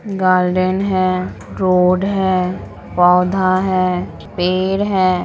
Garden है road है पौधा है पेड़ है।